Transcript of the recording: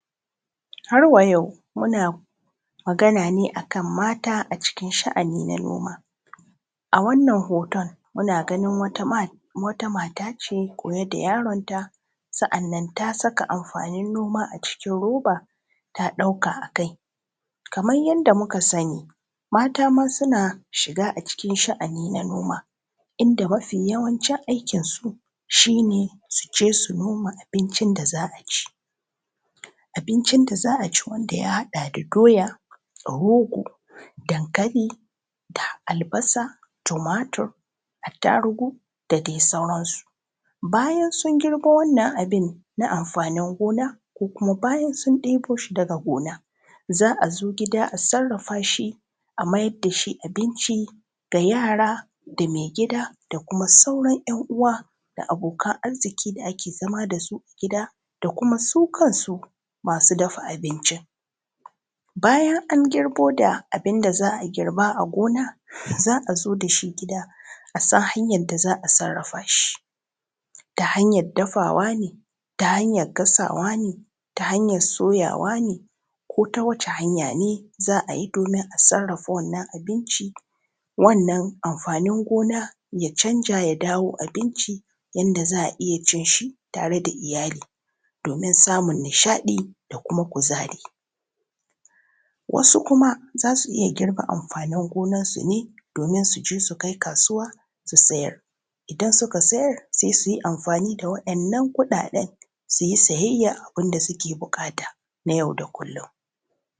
Har wa yau muna magana ne a kan mata a cikin sha’ani na noma, A wannan hoto muna ganin wata mata ce goye da yaronta, Sannan ta saka amfanin noma a cikin roba, ta ɗauka a kai, Kamar yadda muka sani mata ma suna shiga a cikin sha’ani na noma inda mafi yawancin aikinsu shi ne su je su noma abincin da za a ci wanda ya haɗa da doya, rogo, dankali, albasa, tumatur, attarugu, da dai sauransu, Bayan sun girba wannan abu na amfanin gona ko kuma bayan sun ɗebo shi daga gona za a zo gida a sarrafa shi a maida shi abinci da, Da yara da maigida da sauran ‘yan uwa da abokan arziki da ake zama da su a gida, Da kuma su kansu masu dafa abincin bayan an girbo abin da za a girba a gona za a zo da shi gida a san hanyar da za a sarrafa shi, Ta hanyar dafuwa ne, ta hanyar gasawa ne, Ta hanyar soyawa ne, Ko ta wacce hanya ne za a yi domin a sarrafa wannan abinci, Wannan amfanin gona ya canza ya zama abinci wanda za a iya cin shi tare da iyali, Domin samun nishaɗi da kuma kuzari, Wasu kuma za su iya girbe amfanin gonansu ne domin su je su kai kasuwa su sayar, Idan suka sayar sai su yi amfani da waɗannan kuɗaɗe su yi sayayyan abin da suke buƙata na yau da kullum.